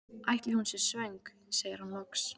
Ætli hún sé svöng? segir hann loks.